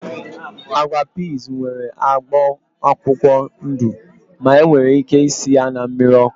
Agwa piiz nwere agba akwụkwọ ndụ ma enwere ike isi ya na mmiri ọkụ